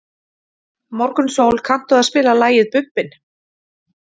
Morgunsól, kanntu að spila lagið „Bubbinn“?